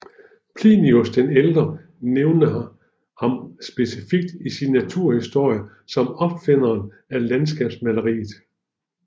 Plinius den ældre nævner ham specifikt i sin naturhistorie som opfinderen af landskabsmaleriet